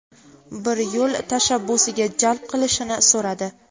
bir yo‘l tashabbusiga jalb qilishini so‘radi.